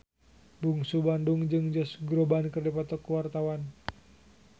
Bungsu Bandung jeung Josh Groban keur dipoto ku wartawan